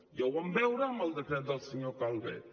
ja ho vam veure amb el decret del senyor calvet